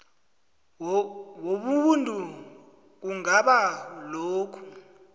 wobuntu kungabanga lokhu